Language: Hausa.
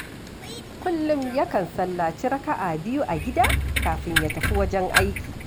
Kullum yakan sallaci raka'a biyu a gida, kafin ya tafi wajen aiki